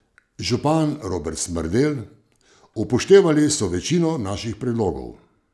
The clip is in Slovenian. Župan Robert Smrdelj: 'Upoštevali so večino naših predlogov.